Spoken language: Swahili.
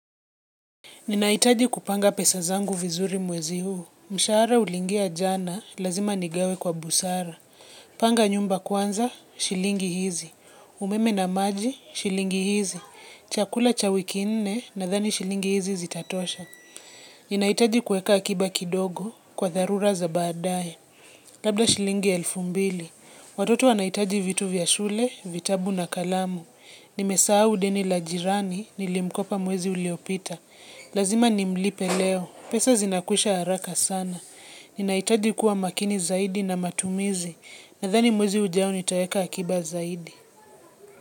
Ninaitaji kupanga pesa zangu vizuri mwezi huu. Mshahara ulingia jana, lazima nigawe kwa busara. Panga nyumba kwanza, shilingi hizi. Umeme na maji, shilingi hizi. Chakula cha wiki nne, nadhani shilingi hizi zitatosha. Ninahitaji kuweka akiba kidogo, kwa dharura za baadaye. Labda shilingi elfu mbili. Watoto wanahitaji vitu vya shule, vitabu na kalamu. Nimesahau deni la jirani, nilimkopa mwezi uliopita. Lazima nimlipe leo, pesa zinakwisha haraka sana Ninahitaji kuwa makini zaidi na matumizi Nadhani mwezi ujao nitaweka akiba zaidi.